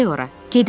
Gedək ora.